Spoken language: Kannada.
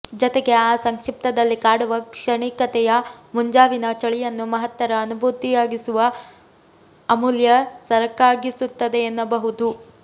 ಜತೆಗೆ ಆ ಸಂಕ್ಷಿಪ್ತದಲ್ಲಿ ಕಾಡುವ ಕ್ಷಣಿಕತೆಯೆ ಮುಂಜಾವಿನ ಚಳಿಯನ್ನು ಮಹತ್ತರ ಅನುಭೂತಿಯಾಗಿಸುವ ಅಮೂಲ್ಯ ಸರಕಾಗಿಸುತ್ತದೆಯೆನ್ನಬಹುದು